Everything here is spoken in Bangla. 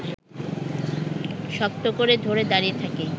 শক্ত করে ধরে দাঁড়িয়ে থাকি